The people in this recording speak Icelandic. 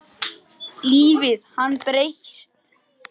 Lífið hafði breyst.